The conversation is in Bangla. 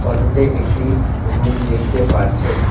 ফটোতে একটি রুম দেখতে পারছেন।